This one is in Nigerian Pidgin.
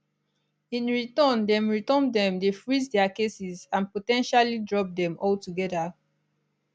in return dem return dem dey freeze dia cases and po ten tially drop dem altogether